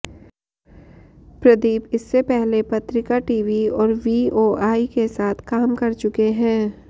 प्रदीप इससे पहले पत्रिका टीवी और वीओआई के साथ काम कर चुके हैं